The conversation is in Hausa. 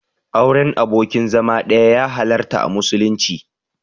Auren abokin zama ɗaya ya halarta a musulunci.